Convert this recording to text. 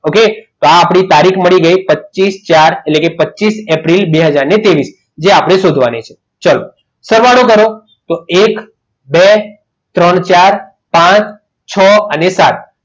Okay તો આપણી તારીખ મળી ગઈ પચીસ એપ્રિલ બે હાજર ત્રેવીસ એ આપણે શોધવાની છે ચાલો સવારે શરૂ કરો તો એક બે ત્રણ ચાર પાંચ છ અને સાત